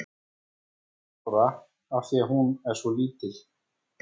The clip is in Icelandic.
Hún er núll ára af því að hún er svo lítil.